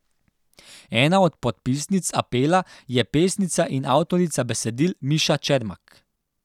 Ena od podpisnic apela je pesnica in avtorica besedil Miša Čermak.